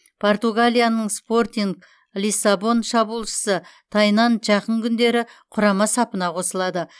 португалияның спортинг лиссабон шабуылшысы тайнан жақын күндері құрама сапына қосылады